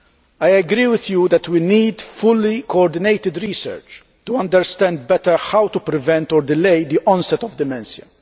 I agree with you that we need fully coordinated research to understand better how to prevent or delay the onset of dementia.